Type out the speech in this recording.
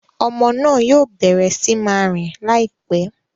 Ọmọ náà yoo bẹrẹ sí máa rìn laipẹ